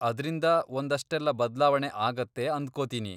ಅದ್ರಿಂದ ಒಂದಷ್ಟೆಲ್ಲ ಬದ್ಲಾವಣೆ ಆಗತ್ತೆ ಅಂದ್ಕೊತೀನಿ.